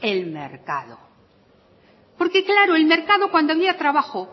el mercado porque claro el mercado cuando había trabajo